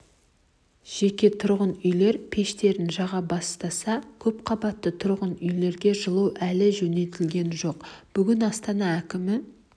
жеке тұрғын үйлер пештерін жаға бастаса көпқабатты тұрғын үйлерге жылу әлі жөнелтілген жоқ бүгін астана әкімі